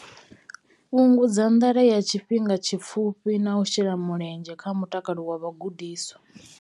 Fhungudza nḓala ya tshifhinga tshipfufhi na u shela mulenzhe kha mutakalo wa vhagudiswa.